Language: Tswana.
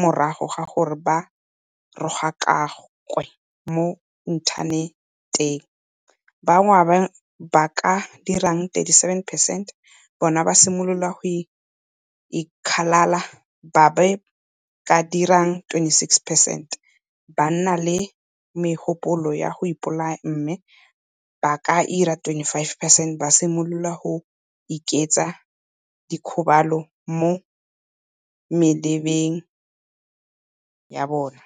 morago ga gore ba rogakakwe mo inthaneteng, ba bangwe ba ba ka dirang 37 percent bona ba simolola go ikgalala, ba ba ka dirang 26 percent ba nna le megopolo ya go ipolaya mme ba ba ka dirang 25 percent ba simolola go ikentsha dikgobalo mo mebeleng ya bona.